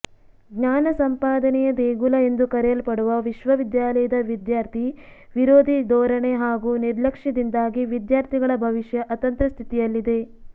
ಜ್ಞಾನ ಸಂಪಾದನೆಯ ದೇಗುಲ ಎಂದು ಕರೆಯಲ್ಪಡುವ ವಿಶ್ವವಿದ್ಯಾಲಯದ ವಿದ್ಯಾರ್ಥಿ ವಿರೋಧಿ ಧೋರಣೆ ಹಾಗೂ ನಿರ್ಲಕ್ಷ್ಯದಿಂದಾಗಿ ವಿದ್ಯಾರ್ಥಿಗಳ ಭವಿಷ್ಯ ಅತಂತ್ರ ಸ್ಥಿತಿಯಲ್ಲಿದೆ